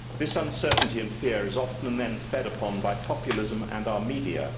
This uncertainty and fear is often then fed upon by populism and our media.